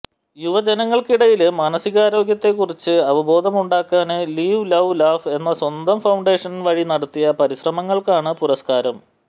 യുവജനങ്ങള്ക്കിടയില് മാസികാരോഗ്യത്തെ കുറിച്ച് അവബോധമുണ്ടാക്കാന് ലിവ് ലൌ ലാഫ് എന്ന സ്വന്തം ഫൌണ്ടേഷന് വഴി നടത്തിയ പരിശ്രമങ്ങള്ക്കാണ് പുരസ്കാരം